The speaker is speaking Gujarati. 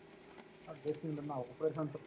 dressing room માં operation થતું હોય